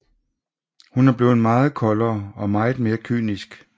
Hun er blevet meget koldere og meget mere kynisk